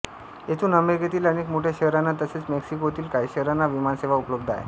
येथून अमेरिकेतील अनेक मोठ्या शहरांना तसेच मेक्सिकोतील काही शहरांना विमानसेवा उपलब्ध आहे